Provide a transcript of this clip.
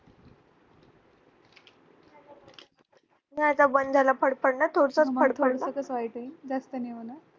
नाही आता बंद झालं फडफडण थोडसं फडफडतं